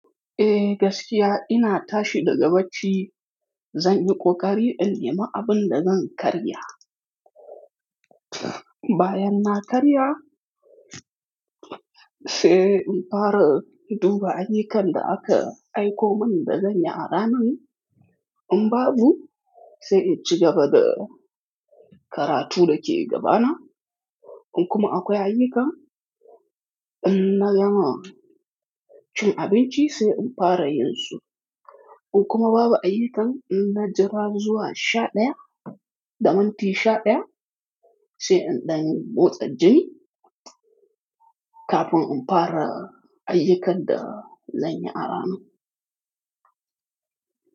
Eh gaskiya ina tashi daga bacci, zan yi ƙoƙari in yi ma abin da zan karya. Bayan na karya, sai in fara in duba ayyukan da aka aiko mun dazanyi a ranan In babu, sai in ci gaba da karatu da ke gabana. In kuma akwai ayyuka, inna gama cin abinci sai in fara yin su. In kuma babu ayyukan, inna jira zuwa sha ɗaya, damin ti sha ɗaya sai in ɗan motsa jini kafin in fara ayyukan da zan yi a ranan.